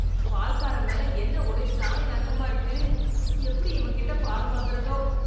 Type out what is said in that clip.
பால் காரன் மேல என்ன ஒரே சாணி நாத்தமா இருக்கு, எப்படி இவங்கிட்ட பால் வாங்கறதோ.